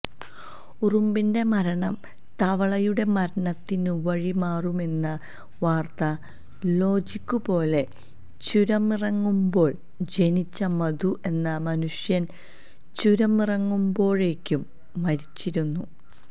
ഉറുമ്പിന്റെ മരണം തവളയുടെ മരണത്തിനു വഴിമാറുമെന്ന വാര്ത്താ ലോജിക്കു പോലെ ചുരമിറങ്ങുമ്പോള് ജനിച്ച മധു എന്ന മനുഷ്യന് ചുരമിറങ്ങുമ്പോഴേക്കും മരിച്ചിരുന്നു